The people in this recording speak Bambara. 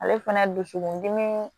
Ale fana dusukun dimi